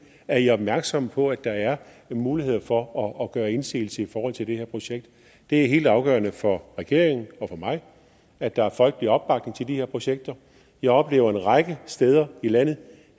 er i opmærksomme på at der er mulighed for at gøre indsigelse i forhold til det her projekt det er helt afgørende for regeringen og for mig at der er folkelig opbakning til de her projekter jeg oplever en række steder i landet